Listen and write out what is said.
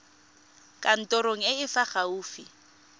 kantorong e e fa gaufi